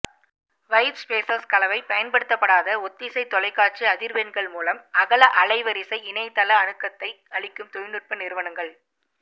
white spaces கலவை பயன்படுத்தப்படாத ஒத்திசை தொலைக்காட்சி அதிர்வெண்கள் மூலம் அகல அலைவரிசை இணையத்தள அணுக்கத்தை அளிக்கும் தொழில்நுட்ப நிறுவனங்கள்